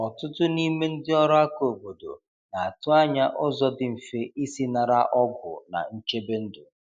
Ọtụtụ n’ime ndị ọrụ aka obodo na atụ anya ụzọ dị mfe isi nara ọgwụ na nchebe ndu.